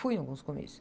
Fui em alguns comícios.